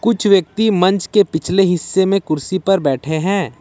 कुछ व्यक्ति मंच के पिछले हिस्से में कुर्सी पर बैठे हैं।